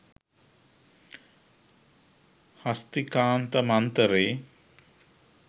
හස්තිකාන්ත මන්තරේ